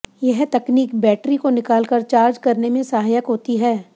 यह तकनीक बैटरी को निकाल कर चार्ज करने में सहायक होती है